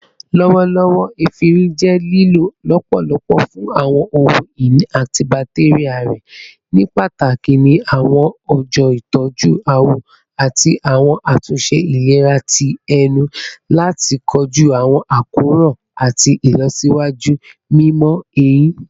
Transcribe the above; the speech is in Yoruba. Lọwọlọwọ, efinrin jẹ lilo lọpọlọpọ fun awọn ohun-ini antibacterial rẹ, nipataki ni awọn ọja itọju awọ ati awọn atunṣe ilera ti ẹnu lati koju awọn akoran ati ilọsiwaju mimọ ehin